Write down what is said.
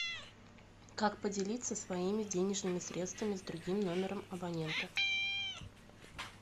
как поделиться своими денежными средствами с другим номером абонента